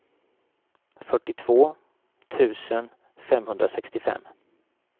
fyrtiotvå tusen femhundrasextiofem